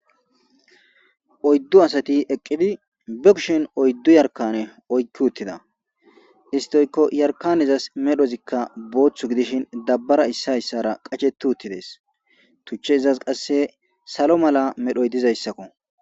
Oyddu asati eqidi be kushen oyddu yarkane oykki uttida isti oykko yarkanezas medhozi boothi gidishin dabbara issi issara qacheti utides tuchezi izas kasse salo mala oykkidayssako.